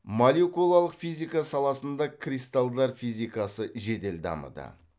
молекулалық физика саласында кристалдар физикасы жедел дамыды